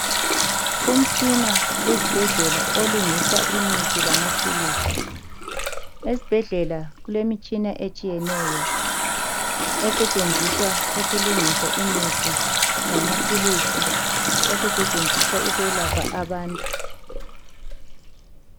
Umtshina esibhedlela olungisa imithi lamaphilisi esibhedlela kulemitshina etshiyeneyo esetshenziswa ukulungisa imithi lamaphilisi okusetshenziswa ukwelapha abantu.